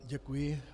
Děkuji.